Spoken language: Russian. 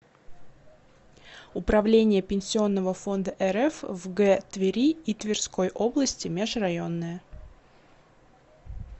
управление пенсионного фонда рф в г твери и тверской области межрайонное